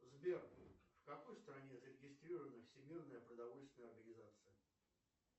сбер в какой стране зарегистрирована всемирная продовольственная организация